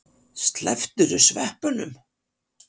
Slepptirðu sveppunum?